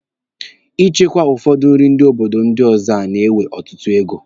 Ichekwa ụfọdụ nri ndị obodo ọzọ a na-ewe ọtụtụ ego.